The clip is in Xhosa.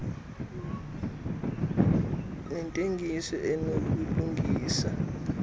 zabathengi nentengiso enobulungisa